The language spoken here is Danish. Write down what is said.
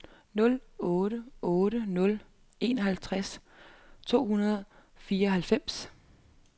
nul otte otte nul enoghalvtreds to hundrede og fireoghalvfjerds